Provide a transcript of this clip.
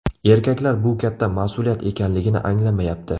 Erkaklar bu katta mas’uliyat ekanligini anglamayapti.